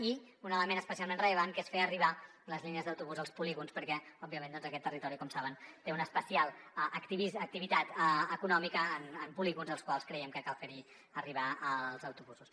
i un element especialment rellevant que és fer arribar les línies d’autobús als polígons perquè òbviament doncs aquest territori com saben té una especial activitat econòmica en polígons als quals creiem que cal fer hi arribar els autobusos